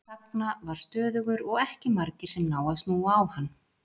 Sagna var stöðugur og ekki margir sem ná að snúa á hann.